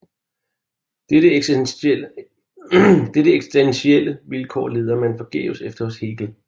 Dette eksistentielle vilkår leder man forgæves efter hos Hegel